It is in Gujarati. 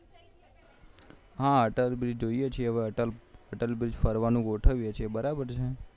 હા અટલ બ્રિજ જોઈએ છીએહવે અટલ બ્રીજ ફરવાનું ગોઠવીએ છે બરોબર છે